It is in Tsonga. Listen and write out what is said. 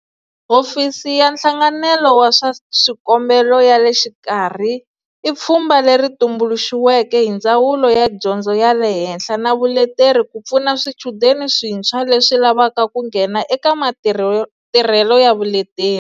Hofisi ya Nhlanganelo wa swa Swikombelo ya le Xikarhi i pfhumba leri tumbuluxiweke hi Ndzawulo ya Dyondzo ya le Henhla na Vuleteri ku pfuna swichudeni swintshwa leswi lavaka ku nghena eka Matirhelo ya Vuleteri.